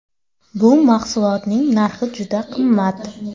Bu mahsulotlarning narxi juda qimmat.